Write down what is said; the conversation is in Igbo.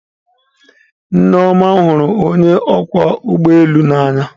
Nneoma hụrụ onye ọkwọ ụgbọ elu n'anya.